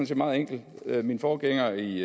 set meget enkelt min forgænger i